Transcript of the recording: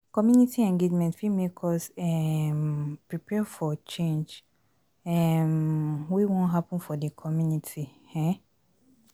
Community engagement fit make us um prepare for change um wey wan happen for the community um